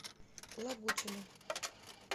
лагутину